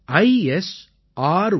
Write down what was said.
gov